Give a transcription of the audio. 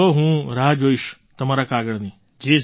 જુઓ હું રાહ જોઈશ તમારા કાગળની